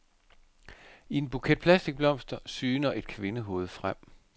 I en buket plastikblomster syner et kvindehoved frem.